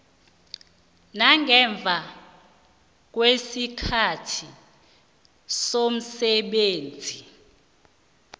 nangemva kwesikhathi somsebenzi